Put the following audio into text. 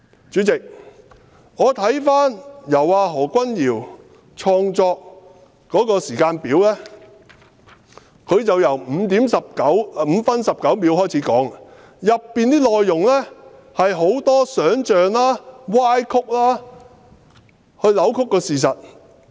主席，我看過何君堯議員創作的時間表，他由5分19秒開始起計，當中內容大多數是想象和歪曲的，扭曲了事實。